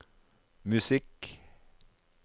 musikk